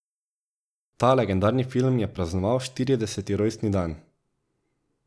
Ta legendarni film je praznoval štirideseti rojstni dan.